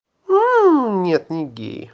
нет не геи